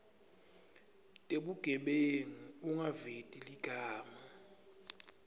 tebugebengu ungaveti ligama